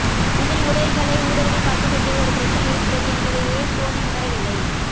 இதில் உடைகளை ஊடுருவி பார்க்கக்கூடிய ஒரு பிரச்னை இருக்கிறது என்பதையே சோனி உணரவில்லை